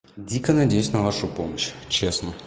дико надеюсь на вашу помощь честно